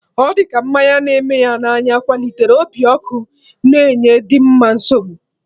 Ọ dị ka mmanya na-eme na anya kwalitere obi ọkụ na enye Dimma nsogbu